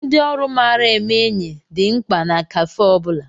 Ndị ọrụ mara eme enyi dị mkpa na káfé ọ bụla